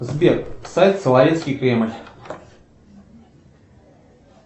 сбер сайт соловецкий кремль